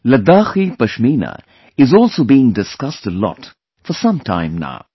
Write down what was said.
Ladakhi Pashmina is also being discussed a lot for some time now